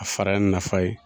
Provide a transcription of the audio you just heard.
A fara nin nafa ye.